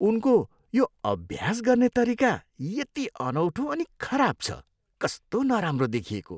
उनको यो अभ्यास गर्ने तरिका यति अनौठो अनि खराब छ। कस्तो नराम्रो देखिएको।